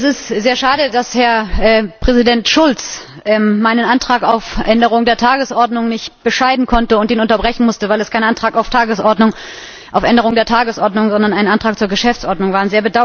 Es ist sehr schade, dass Herr Präsident Schulz meinen Antrag auf Änderung der Tagesordnung nicht bescheiden konnte und ihn unterbrechen musste, weil es kein Antrag auf Änderung der Tagesordnung, sondern ein Antrag zur Geschäftsordnung war.